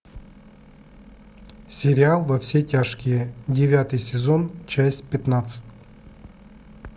сериал во все тяжкие девятый сезон часть пятнадцать